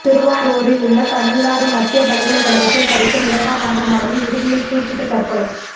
திருவாரூரில் உள்ள தமிழ்நாடு மத்திய பல்கலைக்கழகத்தில் படிக்கும் இரண்டாம் ஆண்டு மாணவி விடுதியில் தூக்கிட்டு தற்கொலை